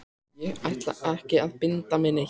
Ég ætla ekki að binda mig neitt.